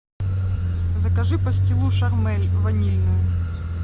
закажи пастилу шармель ванильную